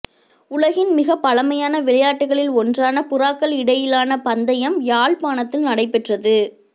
உலகின் மிகப் பழமையான விளையாட்டுக்களில் ஒன்றான புறாக்கள் இடையிலான பந்தயம் யாழ்ப்பாணத்தில் நடைபெற்றது